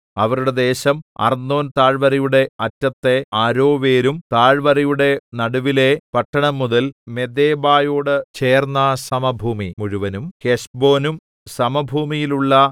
അവരുടെ ദേശം അർന്നോൻതാഴ്‌വരയുടെ അറ്റത്തെ അരോവേരും താഴ്‌വരയുടെ നടുവിലെ പട്ടണം മുതൽ മെദേബയോട് ചേർന്ന സമഭൂമി മുഴുവനും ഹെശ്ബോനും സമഭൂമിയിലുള്ള